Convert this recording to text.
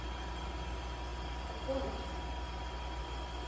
Það kom ekki.